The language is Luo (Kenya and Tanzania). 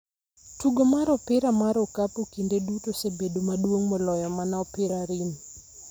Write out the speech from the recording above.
Tugo mar Opira mar Okapu kinde duto osebedo maduong' moloyo mana opira, rim,